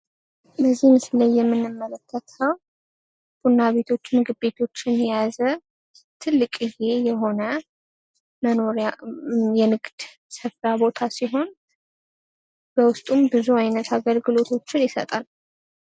በዚህ ምስል ላይ የምንመለከተው ቡና ቤቶቹንና ምግብ ቤቶችን የያዘ ትልቅየ የሆነ የንግድ ስፍራ ቦታ ሲሆን በውስጡም ብዙ አይነት አገልግሎቶችን ይሰጣል ።